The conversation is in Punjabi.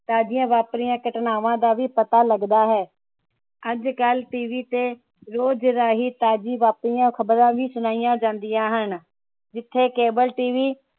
ਤਾਜ਼ੀਆਂ ਵਾਪਰੀਆਂ ਘਟਨਾਵਾਂ ਦਾ ਪਤਾ ਲੱਗਦਾ ਹੈ ਅੱਜਕਲ TV ਤੇ ਰੋਜ ਰਾਹੀਂ ਤਾਜ਼ੀਆਂ ਵਾਪਰੀਆਂ ਖਬਰਾਂ ਵੀ ਸੁਣਾਇਆ ਜਾਂਦੀਆਂ ਹਨ ਜਿਥੇ Cable TV